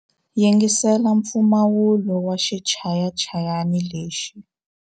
Yingisela mpfumawulo wa xichayachayani lexi.